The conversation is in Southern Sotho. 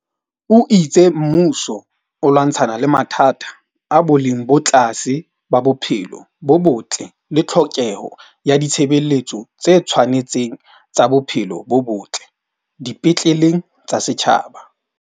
O itse mmuso o lwantshana le mathata a boleng bo tlase ba bophelo bo botle le tlhokeho ya ditshebeletso tse tshwane tseng tsa bophelo bo botle di petleleng tsa setjhaba.